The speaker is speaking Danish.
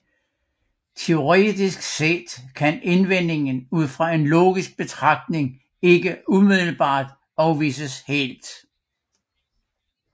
Teoretisk set kan indvendingen ud fra en logisk betragtning ikke umiddelbart afvises helt